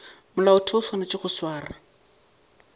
molaotheo o swanetše go swara